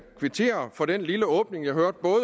kvittere for den lille åbning jeg hørte